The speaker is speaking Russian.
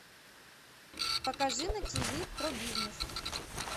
покажи на тв про бизнес